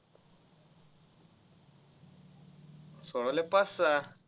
सोडवल्या पाच सहा.